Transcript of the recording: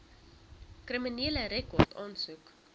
kriminele rekord aansoek